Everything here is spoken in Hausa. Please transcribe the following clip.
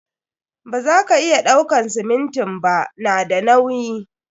Ba za ka iya ɗauakan siminti ba, na da nauyi.